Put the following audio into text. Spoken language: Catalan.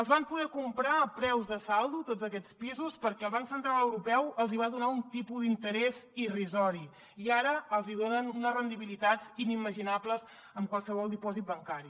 els van poder comprar a preus de saldo tots aquests pisos perquè el banc central europeu els hi va donar un tipus d’interès irrisori i ara els hi donen unes rendibilitats inimaginables en qualsevol dipòsit bancari